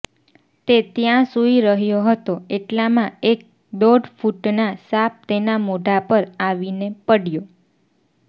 તે ત્યાં સુઈ રહ્યો હતો એટલામાં એક દોઢ ફૂટના સાપ તેના મોઢા પર આવીને પડ્યો